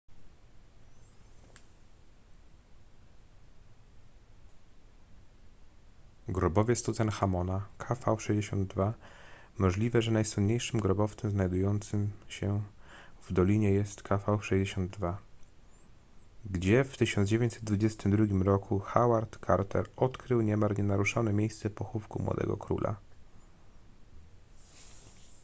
grobowiec tutanchamona kv62. możliwe że najsłynniejszym grobowcem znajdującym się w dolinie jest kv62 gdzie w 1922 roku howard carter odkrył niemal nienaruszone miejsce pochówku młodego króla